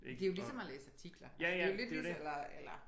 Det er jo ligesom at læse artikler altså det jo lidt ligesom eller eller